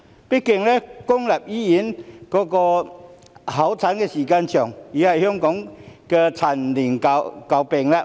畢竟，公立醫院候診時間長，已是香港的陳年舊病。